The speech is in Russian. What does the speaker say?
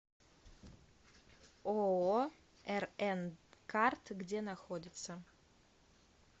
ооо рн карт где находится